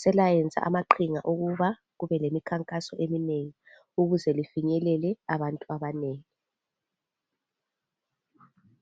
selayenza amaqhinga okuba kube lemikhakaso eminengi ukuze lifinyelele abantu abanengi.